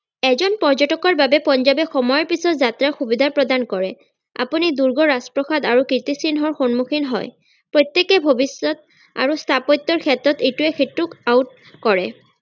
এজন পৰ্যতকৰ বাবে পঞ্জাৱে সময়ৰ পিছত যাতে সুবিধা প্ৰদান কৰে আপুনি দূৰ্গ ৰাজপ্ৰাসাদ আৰু কীৰ্তি চিহ্নৰ সন্মুখীন হয় প্ৰত্যেকে ভৱিষ্যত আৰু স্থাপত্যৰ ক্ষেত্ৰত এইটোৱে সিটোক out কৰে